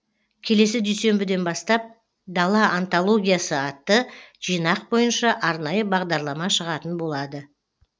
келесі дүйсенбіден бастап дала антологиясы атты жинақ бойынша арнайы бағдарлама шығатын болады